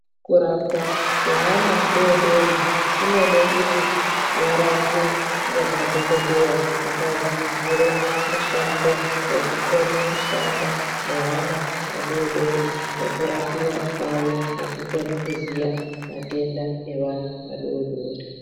Kurapwa kweana adoodori kunode kuti varapwe ngemadhogodheya akadzidzire mushando wekukone kushanda nevana vadoodori nekurapiwa kwavo nekukone kuziya matenda evana vadoodori.